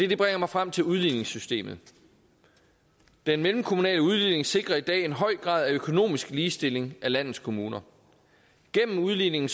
det bringer mig frem til udligningssystemet den mellemkommunale udligning sikrer i dag en høj grad af økonomisk ligestilling af landets kommuner gennem udligningen